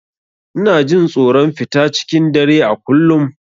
Ina jin tsoron fita cikin dare a kullum.